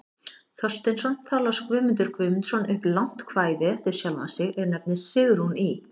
Thorsteinsson, þá las Guðmundur Guðmundsson upp langt kvæði eftir sjálfan sig, er nefnist Sigrún í